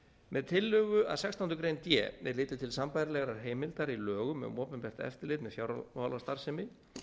með tillögu að sextándu grein d er litið til sambærilegrar heimildar í lögum um opinbert eftirlit með fjármálastarfsemi